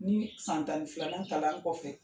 Ni san tan ni filan kalan kɔfɛ